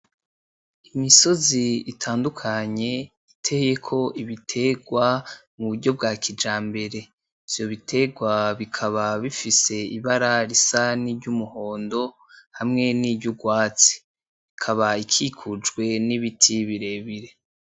Imisozi itandukanye, iteyeko ibiterwa mu buryo bwa kijambere. Ivyo biterwa bikaba bifise ibara risa niry'umuhondo hamwe niry'urwatsi. Ikaba ikikujwe nibiti birebire.